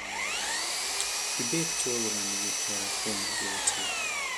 Gibed jogo ma nigi hera kuom jowetegi